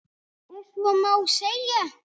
Ef svo má segja.